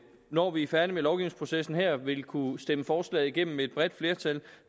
når vi er færdige med lovgivningsprocessen her vil kunne stemme forslaget igennem med et bredt flertal